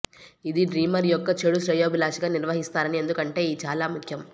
ఇది డ్రీమర్ యొక్క చెడు శ్రేయోభిలాషిగా నిర్వహిస్తారని ఎందుకంటే ఈ చాలా ముఖ్యం